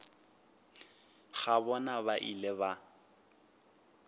ga bona ba ile ba